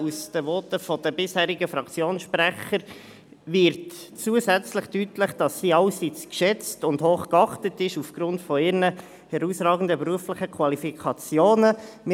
Aus den Voten der bisherigen Fraktionssprecher wird zusätzlich deutlich, dass sie aufgrund ihrer herausragenden beruflichen Qualifikationen allseits geschätzt und hoch geachtet ist.